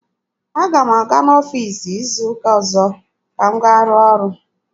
Aga m aga n'ọfiisi izu ụka ọzọ ka m gaa rụọ ọrụ.